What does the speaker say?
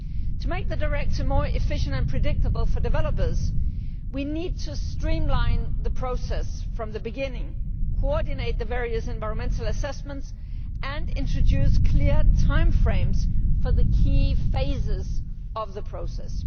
To make the Directive more efficient and predictable for developers, we need to streamline the process from the beginning, coordinate the various environmental assessments and introduce clear time frames for the key phases of the process.